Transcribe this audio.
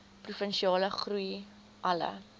provinsiale groei alle